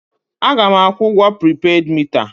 A ga m akwụ ụgwọ pripeed mita a?